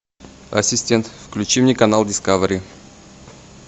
ассистент включи мне канал дискавери